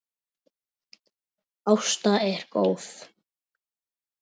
Ásta er góð.